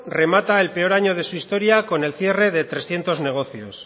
remata el peor año de su historia con el cierre de trescientos negocios